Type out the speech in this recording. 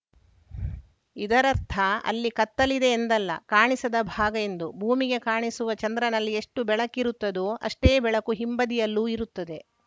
ಇದರರ್ಥ ಅಲ್ಲಿ ಕತ್ತಲಿದೆ ಎಂದಲ್ಲ ಕಾಣಿಸದ ಭಾಗ ಎಂದು ಭೂಮಿಗೆ ಕಾಣಿಸುವ ಚಂದ್ರನಲ್ಲಿ ಎಷ್ಟುಬೆಳಕಿರುತ್ತದೋ ಅಷ್ಟೇ ಬೆಳಕು ಹಿಂಬದಿಯಲ್ಲೂ ಇರುತ್ತದೆ